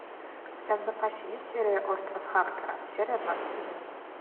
у тебя в запасе есть серия остров харпера серия двадцать один